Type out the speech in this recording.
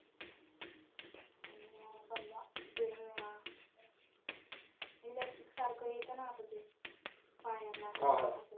आणि समजा जेणे elastic सारखं येतं ना आता ते पायांना.